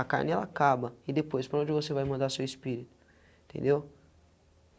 A carne ela acaba e depois para onde você vai mandar seu espírito, entendeu?